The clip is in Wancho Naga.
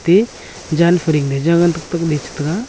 e jan free ma jaja tak tak ley che ngan taiga.